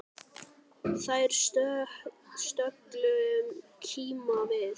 Þær stöllur kíma við.